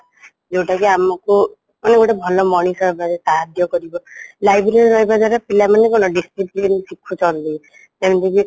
ଯୋଉଟାକି ଆମକୁ ମାନେ ଭଲ ମଣିଷ ହେବାରେ ସାହାଯ୍ୟ କରିବ library ରେ ରହିବା ଦ୍ଵାରା ପିଲାମାନେ କ'ଣ discipline ଶିଖୁଛନ୍ତି ତେଣୁକରି